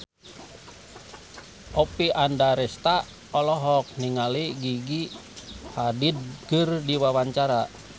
Oppie Andaresta olohok ningali Gigi Hadid keur diwawancara